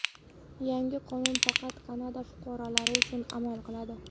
Yangi qonun faqat Kanada fuqarolari uchun amal qiladi.